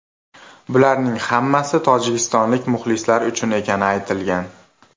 Bularning hammasi tojikistonlik muxlislar uchun ekani aytilgan.